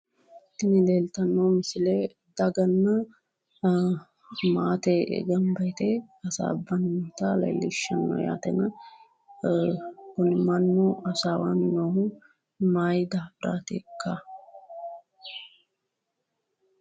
tini leeltanno misile daganna maate gamba yite hasaabbannota leellishanno yaate kuni manni hasaawanni noohu mayii daafiraatikka?